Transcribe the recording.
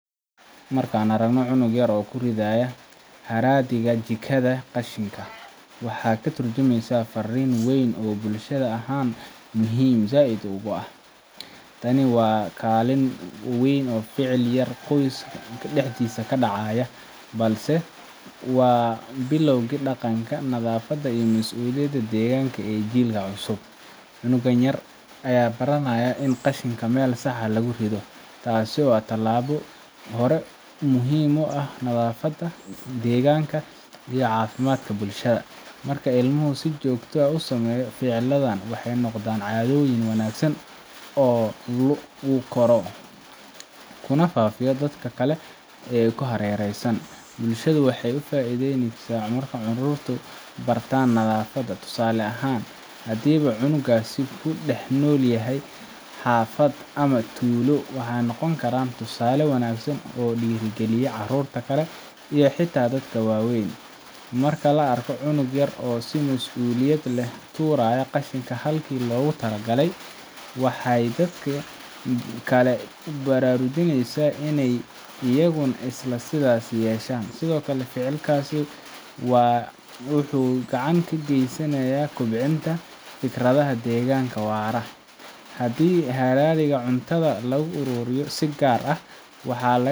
Markan aragno cunug yar oo kuridhaya haradiga jikaada qashinka waxaa katurjumeysa arin weyn oo bulshaada ahan muhiim said ogu ah tani waa kalin weyn oo ficil qoys daxdisa kadaca balse waa bilawga daqanka xafaada iyo masuliyada ee daqanka cusub, cunugan yar aya baranaya in qashinka meel sax ah lagu ridho tasi oo ah tilabo hore muhiim u ah nadhafaada deganka iyo cafimaadka bulshaada marka ilmuhu usameya si jogto ah ficiladhan wxee noqdan cadhoyn wanagsan kuna fafa hareraha, bulshaada waxee cawisa marki carurtu bartan calamaada tusale ahan hadii cunugu u ku dax nol yahay xafaada tusale wanagsan oo dira galiya carurta kale iyo xita dadka wawen, marki la arka cunug turaya qashinka waxee dadka kale bararujoneysa in iyaguna sithas yeshan wuxuu gacan ka gesanaya kobcinta fikradaha deganka waraa hadii la aruriyo waxaa laga yawa in.